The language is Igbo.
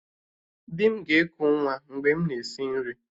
Di m ga-eku nwa mgbe m na-esi nri